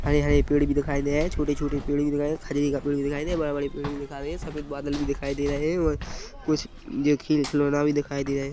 हरे हरे पेड़ भी दिखाई दे रहे है छोटे छोटे पेड़ भी दिखाईबड़े बड़े पेड़ भी दिखाई दे रहे है सफेद बादल भी दिखाई दे रहे है और कुछ खिल खिलौना भी देखाई दे रहे।